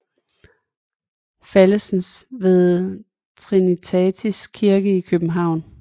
Fallesen ved Trinitatis Kirke i København